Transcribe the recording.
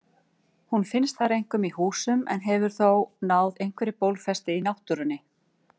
Hún finnst þar einkum í húsum en hefur þó náð einhverri fótfestu í náttúrunni.